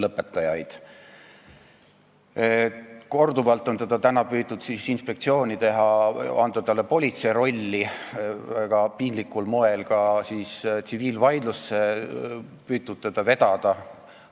Täna on korduvalt püütud inspektsioonile anda politsei rolli, väga piinlikul moel on püütud teda ka tsiviilvaidlusse vedada.